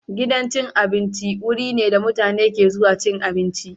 Gidan cin abinci wuri ne da mutane ke zuwa cin abinci.